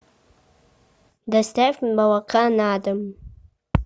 доставь молока на дом